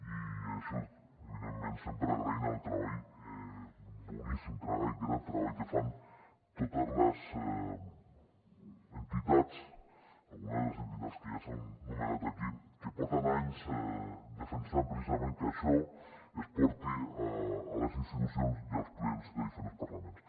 i això evidentment sempre agraint el treball boníssim treball gran treball que fan totes les entitats algunes de les entitats ja s’han anomenat aquí que porten anys defensant precisament que això es porti a les institucions i als plens de diferents parlaments